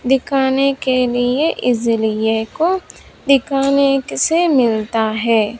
दिखाने के लिए इस लिए को दिखाने से मिलता है।